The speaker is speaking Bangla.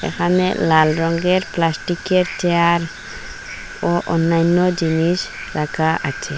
এখানে লাল রঙ্গের প্লাস্টিকের চেয়ার ও অন্যান্য জিনিস রাখা আছে।